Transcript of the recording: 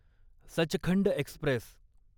Sachkhand Express